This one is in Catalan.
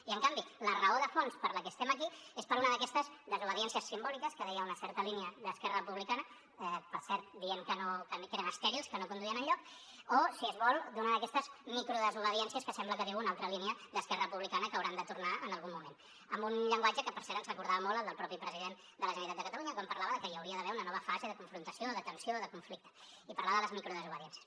i en canvi la raó de fons per la que estem aquí és una d’aquestes desobediències simbòliques que deia una certa línia d’esquerra republicana per cert dient que eren estèrils que no conduïen enlloc o si es vol una d’aquestes micro desobediències que sembla que diu una altra línia d’esquerra republicana que hauran de tornar en algun moment amb un llenguatge que per cert ens recordava molt al del mateix president de la generalitat de catalunya quan parlava de que hi hauria d’haver una nova fase de confrontació de tensió o de conflicte i parlava de les micro desobediències